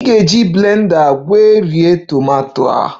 Ị ga-eji blender egweri tomato